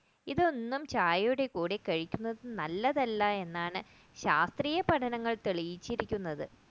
ഇതൊന്നും ചായയുടെ കൂടെ കഴിക്കുന്നത് നല്ലതല്ല എന്നാണ് ശാസ്ത്രീയ പഠനങ്ങൾ തെളിയിച്ചിരിക്കുന്നത്